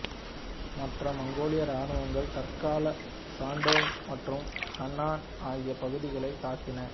மற்ற மங்கோலிய ராணுவங்கள் தற்கால சாண்டோங் மற்றும் ஹெனன் ஆகிய பகுதிகளை தாக்கின